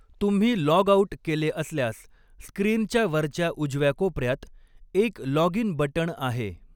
तुम्ही log out केले असल्यास स्क्रीनच्या वरच्या उजव्या कोपऱ्यात एक लॉग इन बटण आहे.